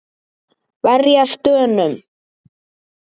Verjast Dönum!